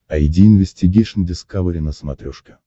айди инвестигейшн дискавери на смотрешке